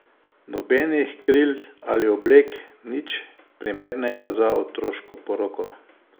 Nobenih kril ali oblek, nič primernega za otoško poroko.